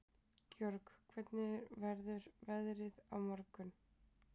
Georg, hvernig verður veðrið á morgun?